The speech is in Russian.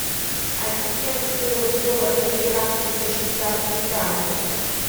ассистент стоимость долларов американских за швейцарские франки